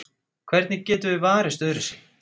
Hvernig getum við varist öðruvísi?